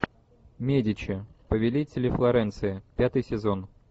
медичи повелители флоренции пятый сезон